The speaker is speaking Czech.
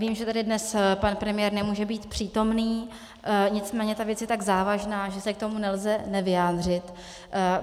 Vím, že tady dnes pan premiér nemůže být přítomen, nicméně ta věc je tak závažná, že se k tomu nelze nevyjádřit.